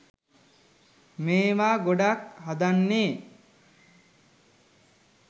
මේවා ගොඩක් හදන්නේ